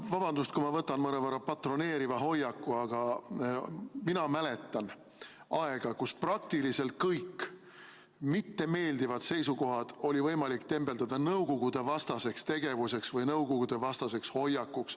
Vabandust, kui ma võtan mõnevõrra patroneeriva hoiaku, aga mina mäletan aega, kus praktiliselt kõik mittemeeldivad seisukohad oli võimalik tembeldada nõukogudevastaseks tegevuseks või nõukogudevastaseks hoiakuks.